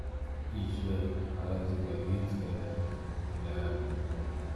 ii sheeg xaalada gaadiidka ee halkan ilaa guriga